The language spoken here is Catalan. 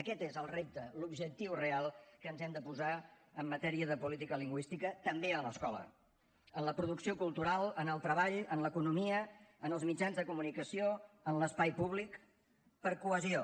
aquest és el repte l’objectiu real que ens hem de posar en matèria de política lingüística també a l’escola en la producció cultural en el treball en l’economia en els mitjans de comunicació en l’espai públic per cohesió